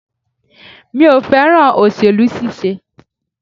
Mi ò fẹ́ràn òsèlú ṣíṣe.